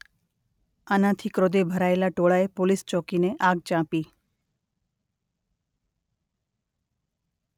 આનાથી ક્રોધે ભરાયેલા ટોળાએ પોલીસ ચોકીને આગ ચાંપી.